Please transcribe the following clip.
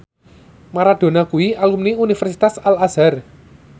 Maradona kuwi alumni Universitas Al Azhar